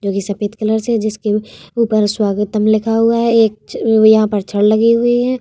जो कि सफ़ेद कलर से है जिसके ऊपर स्वागतम लिखा हुआ है एक यहां पर छड़ लगी हुई है |